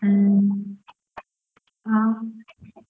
ಹ್ಮ್, ಹಾ